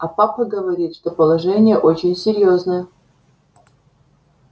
а папа говорит что положение очень серьёзное